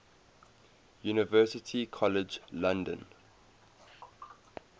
university college london